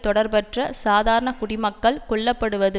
தொடர்பற்ற சாதாரண குடிமக்கள் கொல்ல படுவது